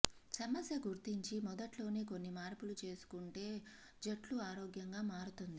సమస్య గుర్తించి మొదట్లోనే కొన్ని మార్పులు చేసుకుంటే జుట్టు ఆరోగ్యంగా మారుతుంది